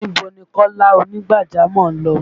Níbo ni Kọ́lá ònígbàjámọ̀ lọ?